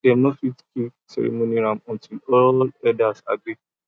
dem no fit kill ceremony goat until all family elders agree